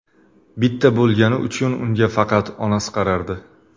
Bitta bo‘lgani uchun unga faqat onasi qarardi.